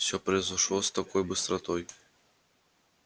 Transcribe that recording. всё произошло с такой быстротой